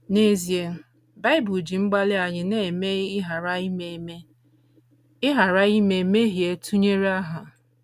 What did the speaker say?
N’ezie, Bible ji mgbalị anyị na - eme ịghara ime eme ịghara ime mmehie tụnyere agha.